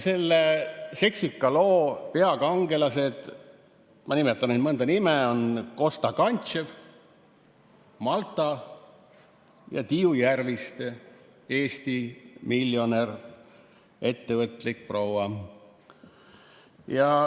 Selle seksika loo peakangelased, ma nimetan mõne nime, on Kosta Kantchev Maltalt ja Tiiu Järviste, Eesti miljonär, ettevõtlik proua.